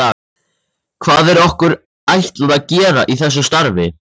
Hvað er okkur ætlað að gera í þessu starfi?